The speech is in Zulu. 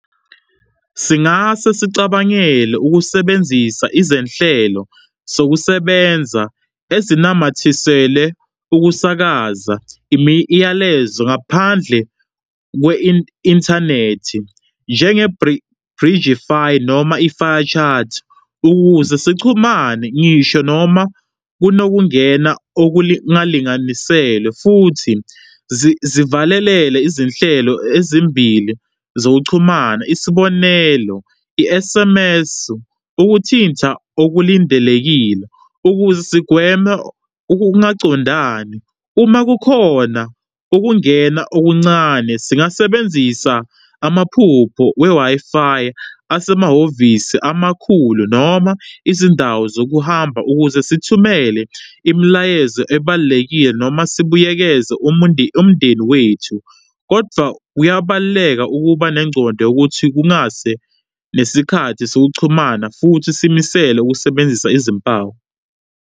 Singase sicabangele ukusebenzisa izenhlelo sokusebenza ezinamathisele ukusakaza imiyalezo ngaphandle inthanethi, njenge- Bridgefy noma i-FireChat, ukuze sichumane, ngisho noma kunokungane okulingalingalisele futhi zivalele izinhlelo ezimbili zokuchumana, isibonelo i-S_M_S, ukuthinta okulindelekile ukuze sigweme ukungaqondani. Uma kukhona ukungena okuncane singasebenzisa amaphupho we-Wi-Fi asemahhovisi amakhulu noma izindawo zokuhamba ukuze sithumele imilayezo ebalulekile noma sibuyekeze umndeni wethu, kodvwa kuyabaluleka ukubanengcondo yokuthi kungase nesikhathi sokuchumana futhi simisele ukusebenzisa izimpawu.